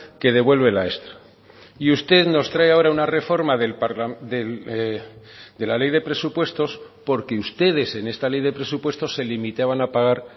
que devuelve la extra y usted nos trae ahora una reforma de la ley de presupuestos porque ustedes en esta ley de presupuestos se limitaban a pagar